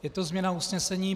Je to změna usnesení.